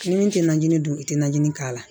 Ni min tɛ najini dun i tɛ najinin k'a la